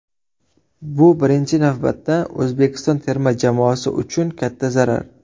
Bu birinchi navbatda O‘zbekiston terma jamoasi uchun katta zarar.